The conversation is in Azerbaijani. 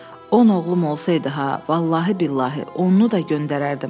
On oğlum olsaydı ha, vallahi-billahi, onunu da göndərərdim.